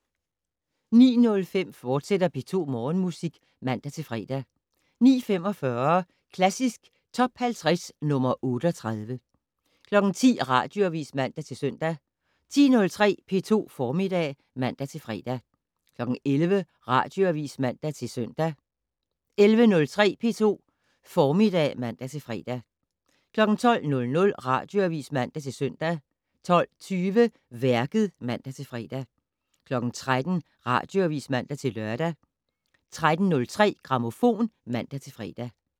09:05: P2 Morgenmusik, fortsat (man-fre) 09:45: Klassisk Top 50 - nr. 38 10:00: Radioavis (man-søn) 10:03: P2 Formiddag (man-fre) 11:00: Radioavis (man-søn) 11:03: P2 Formiddag (man-fre) 12:00: Radioavis (man-søn) 12:20: Værket (man-fre) 13:00: Radioavis (man-lør) 13:03: Grammofon (man-fre)